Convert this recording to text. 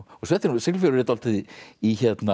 Siglufjörður er dálítið í